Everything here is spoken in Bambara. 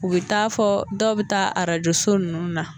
U bɛ taa fɔ dɔw bɛ taa arajso ninnu na.